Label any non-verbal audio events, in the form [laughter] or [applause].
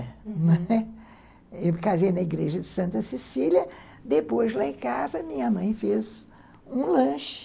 [laughs] Eu casei na igreja de Santa Cecília, depois lá em casa minha mãe fez um lanche.